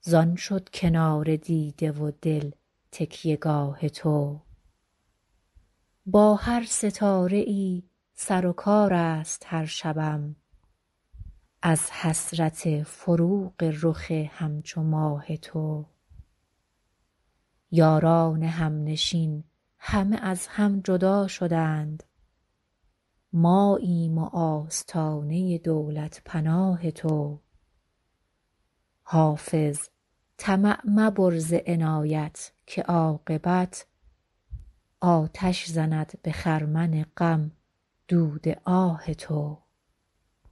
زان شد کنار دیده و دل تکیه گاه تو با هر ستاره ای سر و کار است هر شبم از حسرت فروغ رخ همچو ماه تو یاران همنشین همه از هم جدا شدند ماییم و آستانه دولت پناه تو حافظ طمع مبر ز عنایت که عاقبت آتش زند به خرمن غم دود آه تو